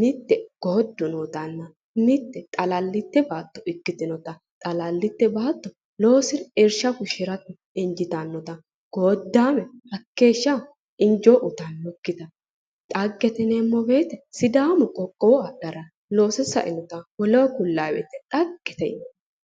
mitte goojjo nootanna mitte xalallite baatto ikkitinnota xalallite baatto loosire irsha fushshirate injiitannota godame hakeeshsha injo uuyitannokkita. dhagete yineemmo woyte sidaamu qoqowo adhara loose sainota woleho kullay woyte dhaggete yinanni.